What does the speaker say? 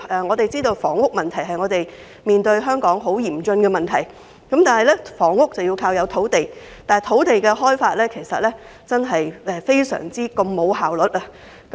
以處理房屋問題為例，這是香港面對的嚴峻問題，而建屋需要土地，但香港的土地開發真的非常沒有效率。